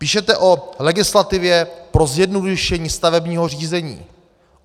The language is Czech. Píšete o legislativě pro zjednodušení stavebního řízení.